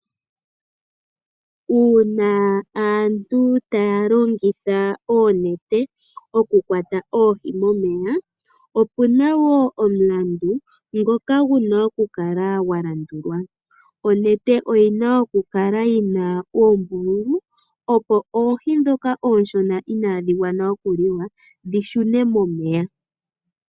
Uuna aantu taya longitha oonete okukwata oohi momeya, opu na wo omulandu ngoka gu na okukala gwa landulwa. Onete oyi na okukala yi na oombululu, opo oohi ndhoka oonshona inaadhi gwana okuliwa dhi shune momeya.